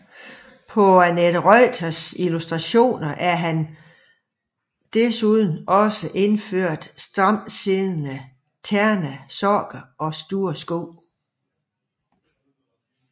På Annette Reuters illustrationer er han desuden iført stramtsiddende ternede sokker og store sko